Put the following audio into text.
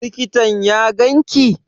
Likitan ya ganka?